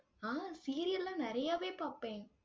ஆஹ் serial லா நிறையவே பார்ப்பேன்.